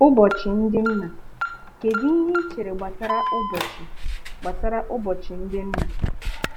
Ụbọchị ndị nna: kedụ ihe ị chere gbasara ụbọchị gbasara ụbọchị ndị nna?